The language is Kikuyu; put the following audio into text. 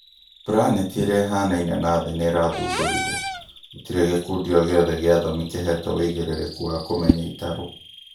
planeti ĩrĩa ĩhanaine na thĩ nĩrathũndũrirwo gũtire gikundi o gĩothe gĩa athomi kĩhetwo uigĩrĩrĩku wa kũmenya itarũ